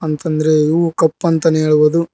ಮತ್ತ್ ಅಂದ್ರೆ ಇವು ಕಪ್ ಅಂತಾನೆ ಹೇಳ್ಬೋದು.